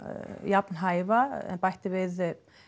jafn hæfa en bætti við